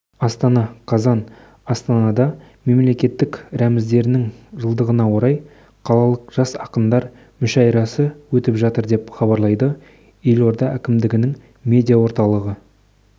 астана қазан астанада мемлекеттік рәміздерінің жылдығына орай қалалық жас ақындар мүшәйрасы өтіп жатыр деп хабарлайды елорда әкімдігінің медиа орталығы